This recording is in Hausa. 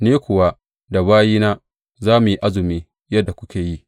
Ni kuwa da bayina za mu yi azumi yadda kuke yi.